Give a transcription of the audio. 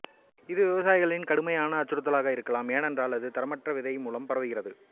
இது விவசாயிகளுக்கு கடுமையான அச்சுறுத்தலாக இருக்கலாம் ஏனென்றால் அது தரமற்ற விதை மூலம் பரவுகிறது